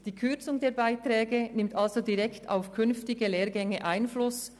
Die Kürzung der Beiträge nimmt somit direkt auf künftige Lehrgänge Einfluss.